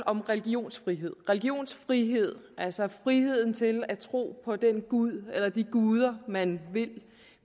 om religionsfrihed religionsfrihed altså friheden til at tro på den gud eller de guder man vil og